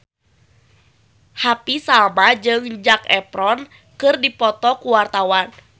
Happy Salma jeung Zac Efron keur dipoto ku wartawan